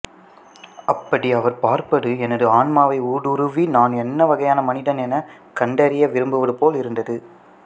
அப்படி அவர் பார்ப்பது எனது ஆன்மாவை ஊடுருவி நான் என்ன வகையான மனிதன் என கண்டறிய விரும்புவது போல் இருந்தது